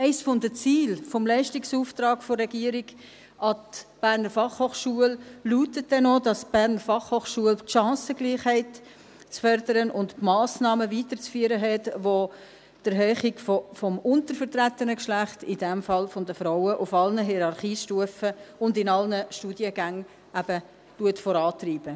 Eines der Ziele des Leistungsauftrages der Regierung an die BFH lautet denn auch, dass die BFH die Chancengleichheit zu fördern und die Massnahmen weiterzuführen hat, welche die Erhöhung des untervertretenen Geschlechts, in diesem Fall der Frauen, auf allen Hierarchiestufen und in allen Studiengängen vorantreiben.